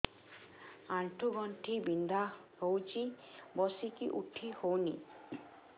ଆଣ୍ଠୁ ଗଣ୍ଠି ବିନ୍ଧା ହଉଚି ବସିକି ଉଠି ହଉନି